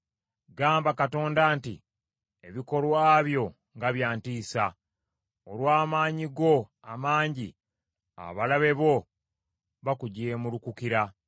Gamba Katonda nti, “Ebikolwa byo nga bya ntiisa! Olw’amaanyi go amangi abalabe bo bakujeemulukukira.